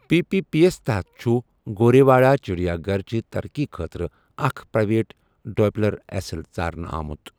P P P یَس تحت چھُ گورے واڑہ چڑیا گھرچہِ ترقی خٲطرٕ اکھ پرائیویٹ ڈویلپر ایسل ژارنہٕ آمٗت ۔